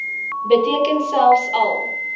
beteken selfs al